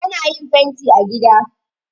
Ana yin fanti a gida